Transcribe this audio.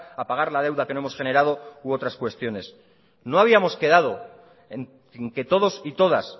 a pagar la deuda que no hemos generado u otras cuestiones no habíamos quedado en que todos y todas